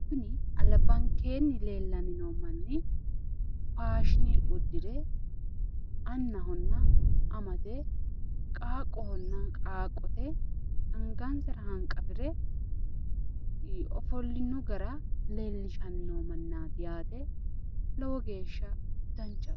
Kuni albankeenni leellanni noo manni faashine uddire annahonna amate qaaqqohonna qaaqqote anagansara hanqafire ofollino gara leellishanni noo mannaati yaate lowo geeshsha danchaho.